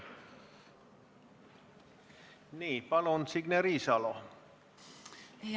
Palun, Signe Riisalo!